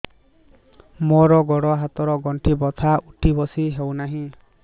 ମୋର ଗୋଡ଼ ହାତ ର ଗଣ୍ଠି ବଥା ଉଠି ବସି ହେଉନାହିଁ